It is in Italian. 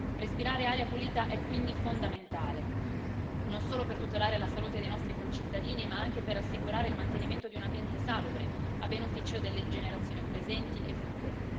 Respirare aria pulita è quindi fondamentale, non solo per tutelare la salute dei nostri concittadini, ma anche per assicurare il mantenimento di un ambiente salubre a beneficio delle generazioni presenti e future.